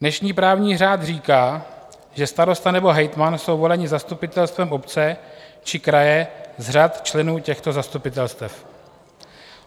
Dnešní právní řád říká, že starosta nebo hejtman jsou voleni zastupitelstvem obce či kraje z řad členů těchto zastupitelstev.